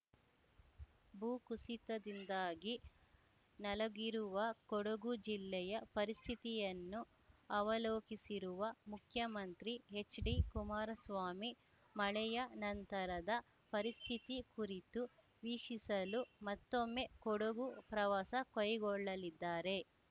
ಭೂಕುಸಿತದಿಂದಾಗಿ ನಲಗಿರುವ ಕೊಡಗು ಜಿಲ್ಲೆಯ ಪರಿಸ್ಥಿತಿಯನ್ನು ಅವಲೋಕಿಸಿರುವ ಮುಖ್ಯಮಂತ್ರಿ ಹೆಚ್‌ಡಿಕುಮಾರಸ್ವಾಮಿ ಮಳೆಯ ನಂತರದ ಪರಿಸ್ಥಿತಿ ಕುರಿತು ವೀಕ್ಷಿಸಲು ಮತ್ತೊಮ್ಮೆ ಕೊಡಗು ಪ್ರವಾಸ ಕೈಗೊಳ್ಳಲಿದ್ದಾರೆ